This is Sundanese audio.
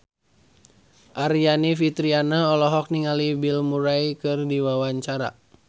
Aryani Fitriana olohok ningali Bill Murray keur diwawancara